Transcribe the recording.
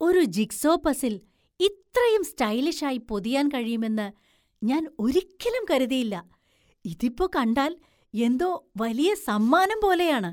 ഒരു jigsaw puzzle‍ ഇത്രയും സ്റ്റൈലിഷായി പൊതിയാൻ കഴിയുമെന്ന് ഞാൻ ഒരിക്കലും കരുതിയില്ല. ഇതിപ്പോ കണ്ടാൽ എന്തോ വലിയ സമ്മാനം പോലെയാണ്.